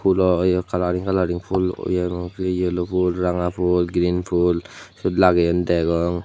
fhoolo yea colouring coloring fhool yea yellow fhool ranga fhool green fhool sir lageyun degong.